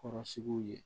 Kɔrɔsigiw ye